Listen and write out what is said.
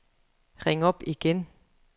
ring op igen